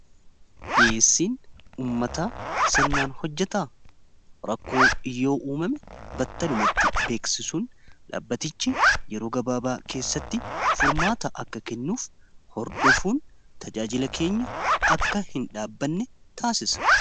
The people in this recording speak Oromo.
dhi'eessiin ummata sirnaan hojjataa rakkoo yoo uumame battalumatti beeksisuun dhaabbatichi yeroo gabaabaa keessatti furmaata akka kennuuf hordofuun tajaajila keenya akka hin dhaabanne taasisa